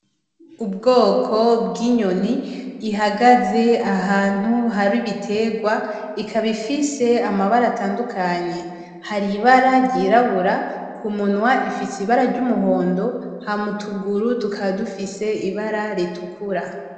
Ubwoko bw'inyoni ihagaze ahantu hari ibiterwa ikaba ifise amabara atandukanye hari ibara ryirabura ku munwa ifitse ibara ry'umuhondo ha mutuguru tukadufise ibara ritukura.